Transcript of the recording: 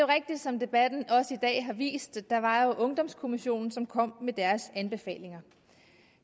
rigtigt som debatten også i dag har vist at der var ungdomskommissionen som kom med deres anbefalinger